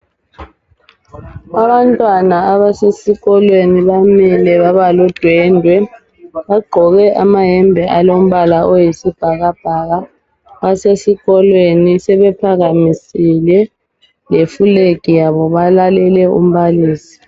Abantwana abasesikolweni bamile babaludwendwe bagqoke amayembe alombala oyisibhakabhaka basesikolweni sebephakamisile le flag yabo balalele umbalisi.